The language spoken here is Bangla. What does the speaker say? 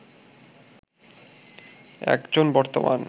একজন বর্তমান